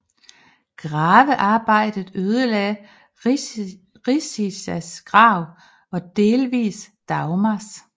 Gravearbejdet ødelagde Richizas grav og delvis Dagmars